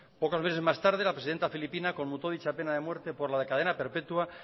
pocos meses más tarde la presidenta filipina conmutó dicha pena de muerte por la de cadena perpetua